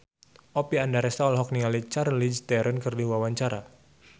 Oppie Andaresta olohok ningali Charlize Theron keur diwawancara